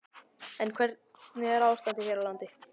En hvernig er ástandið hér á landi?